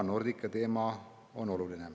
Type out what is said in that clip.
Ja Nordica teema on oluline.